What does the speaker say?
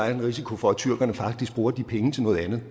er en risiko for at tyrkerne faktisk bruger de penge til noget andet